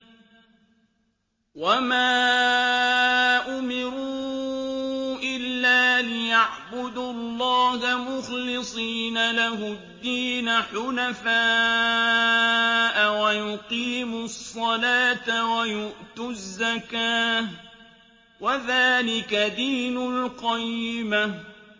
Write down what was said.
وَمَا أُمِرُوا إِلَّا لِيَعْبُدُوا اللَّهَ مُخْلِصِينَ لَهُ الدِّينَ حُنَفَاءَ وَيُقِيمُوا الصَّلَاةَ وَيُؤْتُوا الزَّكَاةَ ۚ وَذَٰلِكَ دِينُ الْقَيِّمَةِ